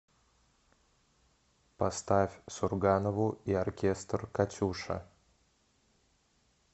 поставь сурганову и оркестр катюша